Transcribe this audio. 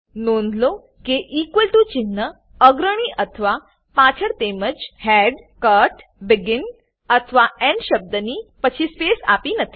નોંધ લો કે ટીઓ ચિન્હ અગ્રણી અથવા પાછળ તેમજ હેડ કટ બેગિન અથવા એન્ડ શબ્દની પછી સ્પેસ આપી નથી